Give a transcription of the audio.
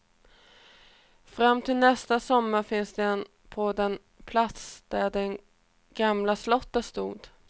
Fram till nästa sommar finns den på den plats, där det gamla slottet stod.